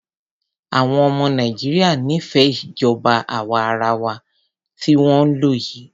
Àwọn ọmọ Nàìjíríà nífẹẹ ìjọba àwa arawa tí wọ́n ń lò yìí.